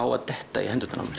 á að detta í hendurnar á mér